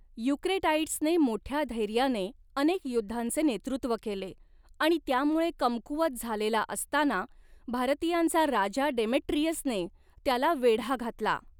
युक्रेटाइड्सने मोठ्या धैर्याने अनेक युद्धांचे नेतृत्व केले आणि, त्यामुळे कमकुवत झालेला असताना, भारतीयांचा राजा डेमेट्रियसने त्याला वेढा घातला.